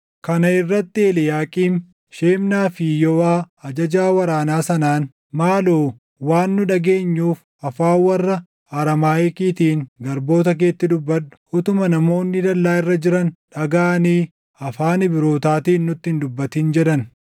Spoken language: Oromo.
Kana irratti Eliiyaaqiim, Shebnaa fi Yooʼaa ajajaa waraanaa sanaan, “Maaloo waan nu dhageenyuuf afaan warra Araamaayikiitiin garboota keetti dubbadhu. Utuma namoonni dallaa irra jiran dhagaʼanii afaan Ibrootaatiin nutti hin dubbatin” jedhan.